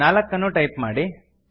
ನಾಲ್ಕನ್ನು type ಮಾಡಿ